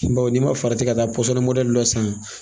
Bawo n'i ma farati ka taa pɔsɔni mɔdɛli dɔ san